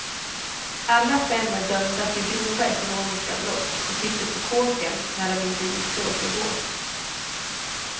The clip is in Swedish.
Alla fem är dömda för grova ekonomiska brott och sitter på kåken när de inte är ute och åker båt.